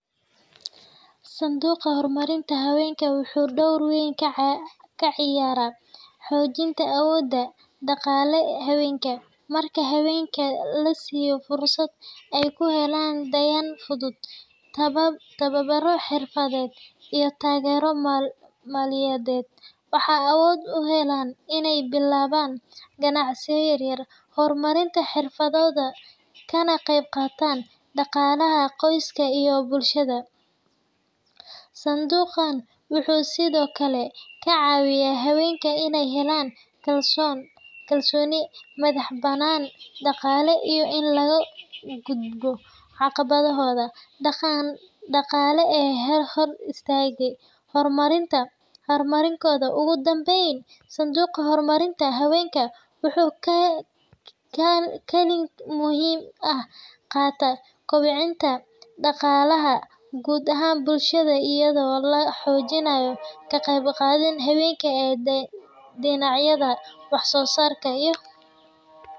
Sanduuqa horumarinta haweenka wuxuu door weyn ka ciyaaraa xoojinta awoodda dhaqaale ee haweenka. Marka haweenka la siiyo fursado ay ku helaan deyn fudud, tababaro xirfadeed, iyo taageero maaliyadeed, waxay awood u helaan inay bilaabaan ganacsiyo yaryar, horumariyaan xirfadooda, kana qeybqaataan dhaqaalaha qoyska iyo bulshada. Sanduuqan wuxuu sidoo kale ka caawiyaa haweenka inay helaan kalsooni, madax-bannaani dhaqaale, iyo in laga gudbo caqabadaha dhaqan-dhaqaale ee hor istaaga horumarkooda. Ugu dambayn, sanduuqa horumarinta haweenka wuxuu kaalin muhiim ah ka qaataa kobcinta dhaqaalaha guud ee bulshada iyadoo la xoojinayo ka-qaybgalka haweenka ee dhinacyada wax-soo-saarka iyo horumarka.